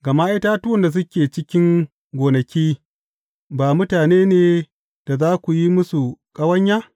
Gama itatuwan da suke cikin gonaki, ba mutane ne da za ku yi musu ƙawanya?